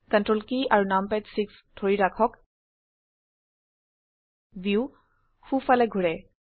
ctrl কী আৰু নামপাদ 6 ধৰি ৰাখক ভিউ সো ফালে ঘোৰে